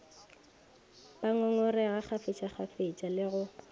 ba ngongorega kgafetšakgafetša le go